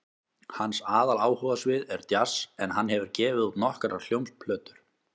Hans aðaláhugasvið er djass en hann hefur gefið út nokkrar hljómplötur.